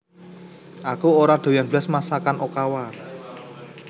Aku ora doyan blas masakan Okawa